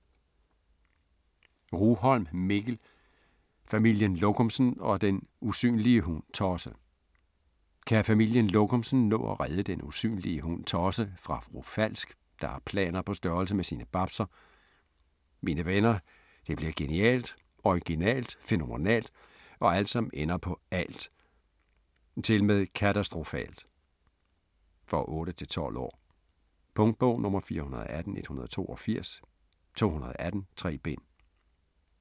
Rugholm, Mikkel: Familien Lokumsen og den usynlige hund Tosse Kan Familien Lokumsen nå at redde Den Usynlige Hund Tosse fra Fru Falsk, der har planer på størrelse med sine babser? Mine venner, det bliver genialt, originalt, fænomenalt og alt, som ender på -alt! Tilmed katastrofalt! For 8-12 år. Punktbog 418182 2018. 3 bind.